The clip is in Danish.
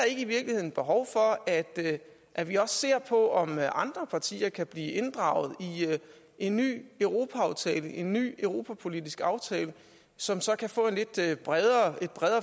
ikke i virkeligheden behov for at at vi også ser på om andre partier kan blive inddraget i en ny europa aftale en ny europapolitisk aftale som så kan få et lidt bredere